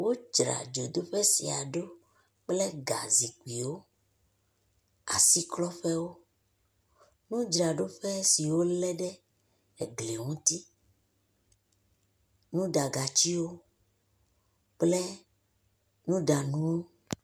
Wodzra dzodoƒe sia ɖo kple gazikpuiwo, asiklɔƒewo, nudzraɖoteƒe si wolé ɖe gli ŋuti, nuɖagatiwo kple nuɖanuwo.